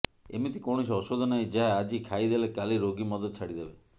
ଏମିତି କୌଣସି ଔଷଧ ନାହିଁ ଯାହା ଆଜି ଖାଇଦେଲେ କାଲି ରୋଗୀ ମଦ ଛାଡ଼ିଦେବ